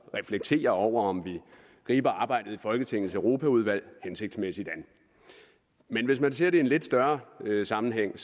reflektere over om vi griber arbejdet i folketingets europaudvalg hensigtsmæssigt an men hvis man ser det i en lidt større sammenhæng